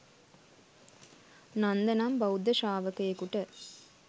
නන්ද නම් බෞද්ධ ශ්‍රාවකයකුට